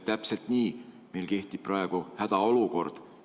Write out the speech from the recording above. Täpselt nii, meil kehtib praegu hädaolukord.